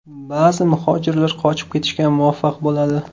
Ba’zi muhojirlar qochib ketishga muvaffaq bo‘ladi.